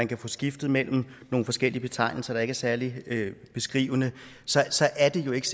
kan få skiftet mellem nogle forskellige betegnelser der ikke er særlig beskrivende så så er der jo ikke